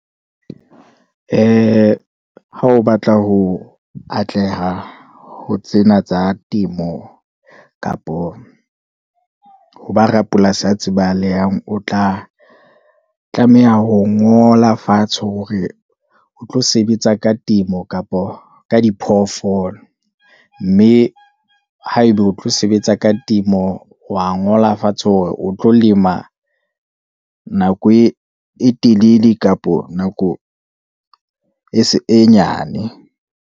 Ee, ha o batla ho atleha ho tsena tsa temo, kapo ho ba rapolasi a tsebahalang, o tla tlameha ho ngola fatshe, hore o tlo sebetsa ka temo kapo ka diphoofolo, mme ha eba o tlo sebetsa ka temo wa ngola fatshe, hore o tlo lema nako e telele kapo nako e nyane.